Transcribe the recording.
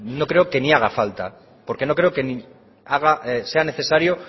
no creo que ni haga falta porque no creo que sea necesario